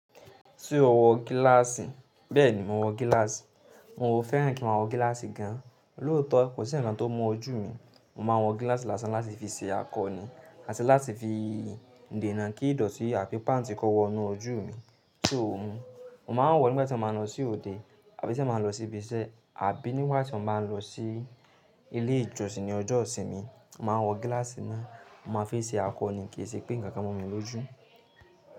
Ṣé o wọ gíláàsì? Bẹ́ẹ̀ni, mo wọ gíláàsì. N ò fẹ́ràn kí n ma wọ gíláàsì gan. Lótọ́, kò sí ǹkankan tó mú ojú mi. Mo ma wọ gíláàsì lásán láti fi ṣe akọ ni àti láti fi dènà kí ìdọ̀tí àbí páǹtì kó wọ inú ojú mi. Ṣe ò hun? Mo ma ń wọ̀ nígbà tí mo ma ń lọ sí òde àbí tí mo bá ń lọ sí ibi iṣẹ́ àbí nígbà tí mo bá ń lọ sí ilé ìjọsìn ní ọjọ́ ìsinmi. Mo ma wọ gíláàsì náà, mo ma fi ń ṣe akọ ni, kìí ṣe pé nǹkan kan mú mi lójú.